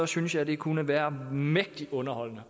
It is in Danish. synes jeg det kunne være mægtig underholdende